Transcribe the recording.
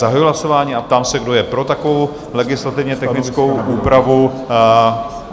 Zahajuji hlasování a ptám se, kdo je pro takovou legislativně technickou úpravu?